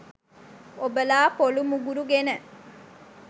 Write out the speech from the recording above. ඔබලා පොලු මුගුරු ගෙන